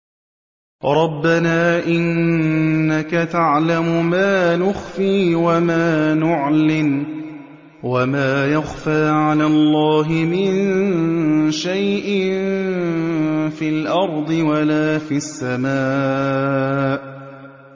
رَبَّنَا إِنَّكَ تَعْلَمُ مَا نُخْفِي وَمَا نُعْلِنُ ۗ وَمَا يَخْفَىٰ عَلَى اللَّهِ مِن شَيْءٍ فِي الْأَرْضِ وَلَا فِي السَّمَاءِ